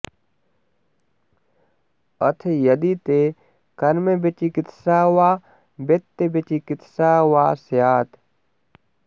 अथ यदि ते कर्मविचिकित्सा वा वृत्तविचिकित्सा वा स्यात्